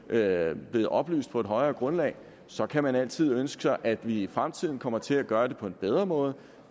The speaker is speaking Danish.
er er blevet oplyst på et højere grundlag og så kan man altid ønske sig at vi i fremtiden kommer til at gøre det på en bedre måde